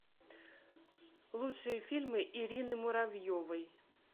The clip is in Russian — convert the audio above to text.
лучшие фильмы ирины муравьевой